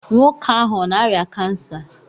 Nwoke ahụ ọ na-arịa kansa?